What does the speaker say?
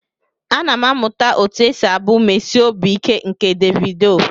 Ana m amụta otu esi abụ mmesi obi ike nke Davido.